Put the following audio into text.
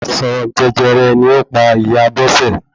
Àìsàn jẹjẹrẹ ni ó pa ìyá Bose